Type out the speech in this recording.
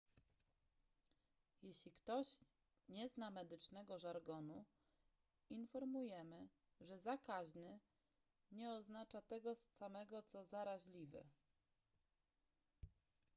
jeśli ktoś nie zna medycznego żargonu informujemy że zakaźny nie oznacza tego samego co zaraźliwy